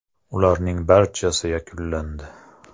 Ularning barchasi yakunlandi.